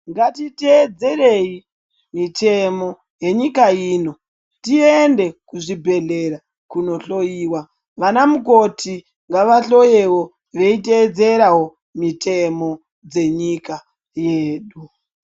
Ngatitedzerei mitemo yenyika ino tiende kuchibhehlera kunohloyiwa. Vana mukoti vahloyevo veiteedzera mitemo dzenyika yedu.